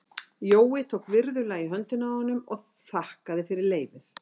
Jói tók virðulega í höndina á honum og þakkaði fyrir leyfið.